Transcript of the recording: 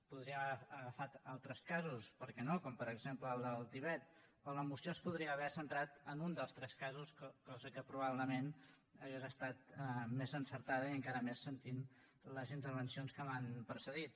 podríem haver agafat altres casos per què no com per exemple el del tibet o la moció es podria haver centrat en un dels tres casos cosa que probablement hauria estat més encertada i encara més sentint les intervencions que m’han precedit